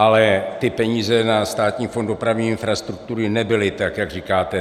Ale ty peníze na Státní fond dopravní infrastruktury nebyly tak, jak říkáte.